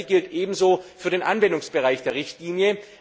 Das Gleiche gilt ebenso für den Anwendungsbereich der Richtlinie.